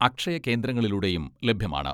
അക്ഷയകേന്ദ്രങ്ങളിലൂടെയും ലഭ്യമാണ്.